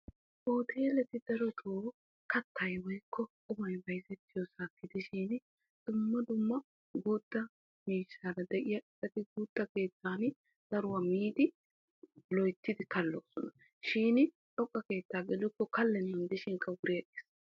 Hooteletti darotto kattay kattay qumay bayzzettiyo keetta qeeri keetta gelikko kalisseshin wogga keetta gelikko kalennankka wuriigees.